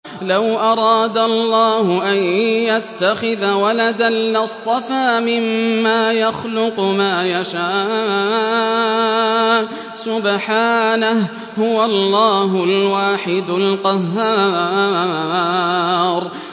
لَّوْ أَرَادَ اللَّهُ أَن يَتَّخِذَ وَلَدًا لَّاصْطَفَىٰ مِمَّا يَخْلُقُ مَا يَشَاءُ ۚ سُبْحَانَهُ ۖ هُوَ اللَّهُ الْوَاحِدُ الْقَهَّارُ